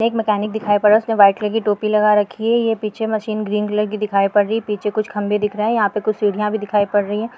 एक मेकॅनिक दिखाई पड रहा उसने व्हाइट रंग की टोपी लगा रखी है ये पीछे मशीन ग्रीन कलर की दिखाई पड रही है पीछे कुछ खंबे दिख रहा है यहाँ पे कुछ सीढ़िया भी दिखाई पड रही है।